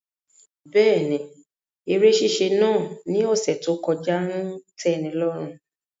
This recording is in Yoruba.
Bẹẹni, ere ṣiṣe naa ni ọsẹ to kọja n tẹnilọrun